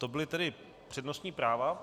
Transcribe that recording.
To byla tedy přednostní práva.